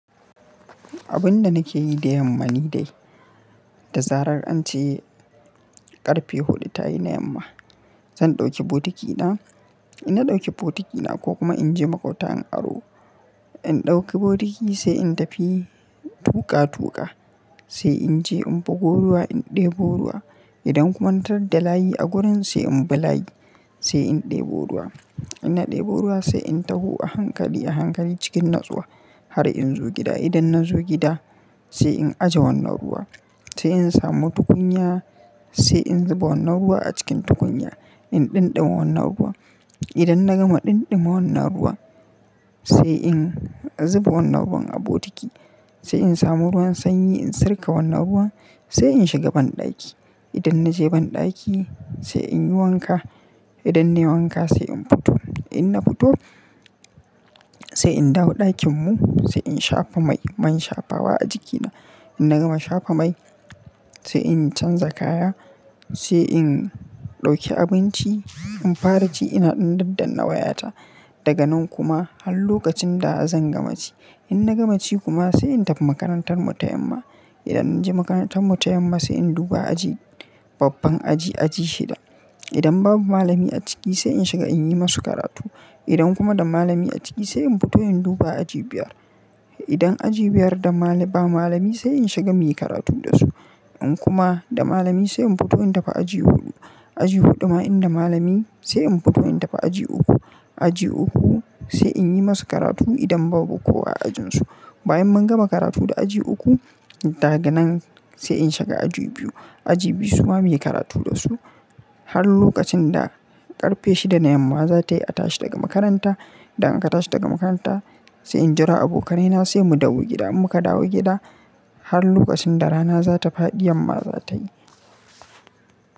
Abin da nake yi da yamma ni dai, da zarar an ce ƙarfe huɗu ta yi na yamma, zan ɗauki bokitina. In na ɗauki bokitina ko kuma in je maƙwabta in aro, in ɗauki bokiti sai in tafi tuƙa tuƙa sai in je in bugo ruwa, in ɗebo ruwa. Idan kuma na tarar da layi a gurin sai in bi layi sai in ɗebo ruwa. In na ɗebo ruwa sai in taho a hankali a hankali cikin natsuwa har in zo gida. Idan na zo gida sai in ajiye wannan ruwa, sai in samu tukunya sai in zuba wannan ruwa a cikin tukunya, in ɗinɗima wannan ruwa. Idan na gama ɗinɗima wannan ruwa sai in zuba wannan ruwan a bokiti sai in samu ruwan sanyi in sirka wannan ruwan sai in shiga banɗaki. Idan na je banɗaki sai in yi wanka. Idan na yi wanka sai in fito. In na fito sai in dawo ɗakin mu sai in shafa mai, man shafawa a jikina. In na gama shafa mai sai in canza kaya sai in ɗauki abinci, in fara ci ina ɗan daddan na wayata daga nan kuma har lokacin da zan gama ci. In na gama ci kuma sai in tafi makarantar mu ta yamma. Idan na je makarantar mu ta yamma sai in duba aji, babban aji, aji shida. Idan babu malami a ciki sai in shiga in yi masu karatu. Idan kuma da malami a ciki sai in fito in duba aji biyar. Idan aji biyar da ma-ba malami sai in shiga muyi karatu da su. In kuma da malami sai in fito in tafi aji huɗu. Aji huɗu ma in da malami sai in fito in tafi aji uku. Aji uku sai in yi masu karatu idan babu kowa a ajin su. Bayan mun gama karatu da aji uku daga nan sai in shiga aji biyu. Aji biyu su ma muyi karatu da su har lokacin da ƙarfe shida na yamma za ta yi a tashi daga makaranta. Idan aka tashi daga makaranta sai in jera abokanai na sai mu dawo gida. In mun ka dawo gida har lokacin da rana za ta faɗi yamma za ta yi.